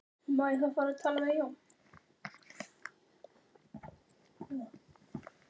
Hvað á svona framkoma að þýða? sagði afi minn með gamalli hvassri rödd.